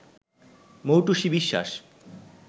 Moutushi Biswas